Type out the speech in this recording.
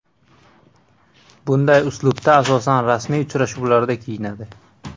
Bunday uslubda, asosan, rasmiy uchrashuvlarda kiyinadi.